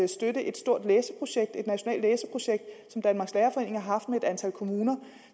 støtte et stort læseprojekt et nationalt læseprojekt som danmarks lærerforening har haft med et antal kommuner og